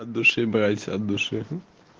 от души братья от души